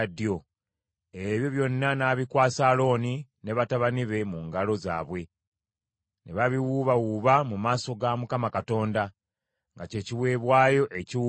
ebyo byonna n’abikwasa Alooni ne batabani be mu ngalo zaabwe, ne babiwuubawuuba mu maaso ga Mukama Katonda, nga kye kiweebwayo ekiwuubibwa.